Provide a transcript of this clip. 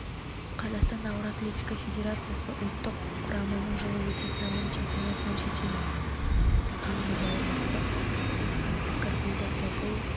қазақстан ауыр атлетика федерациясы ұлттық құраманың жылы өтетін әлем чемпионатынан шеттетілгеніне байланысты ресми пікір білдірді бұл